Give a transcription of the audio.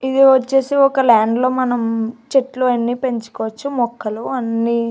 ఇది వచ్చేసి ఒక ల్యాండ్ లో మనం చెట్లు అన్ని పెంచుకోవచ్చు మొక్కలు అన్నీ.